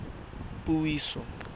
puiso